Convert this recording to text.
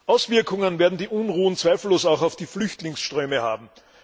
Auswirkungen werden die Unruhen zweifellos auch auf die Flüchtlingsströme haben.